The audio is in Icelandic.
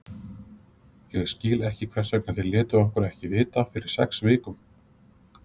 Ég skil ekki hvers vegna þeir létu okkur ekki vita fyrir sex vikum?